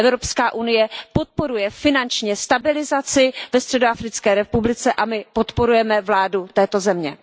Evropská unie podporuje finančně stabilizaci ve Středoafrické republice a my podporujeme vládu této země.